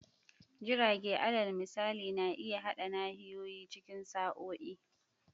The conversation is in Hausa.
Jirage, alal misali, na iya haɗa nahiyoyi cikin sa'o'i.